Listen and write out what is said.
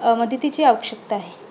अं मदतीची आवश्यकता आहे.